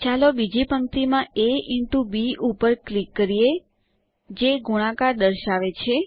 ચાલો બીજી પંક્તિમાં એ ઇન્ટો બી ઉપર ક્લિક કરીએ જે ગુણાકાર દર્શાવે છે